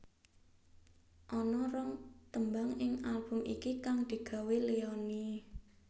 Ana rong tembang ing album iki kang digawé Leony